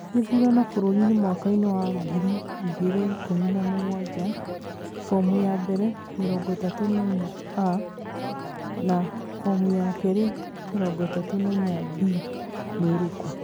Gĩthurano bũrũri Kenya mwaka wa ngiri igĩrĩ ikumi na mũgwanja: fomu ya mbere 34A na fomu ya kerĩ 34B nĩirĩkũ?